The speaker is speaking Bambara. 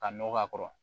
Ka nɔgɔ k'a kɔrɔ